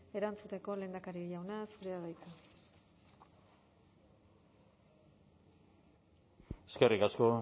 erantzuteko lehendakari jauna zurea da hitza eskerrik asko